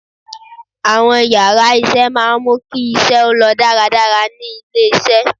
Àwọn yàrá isé maá mú kí isé ó lọ dáradára ní ilé isé